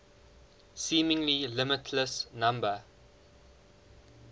seemingly limitless number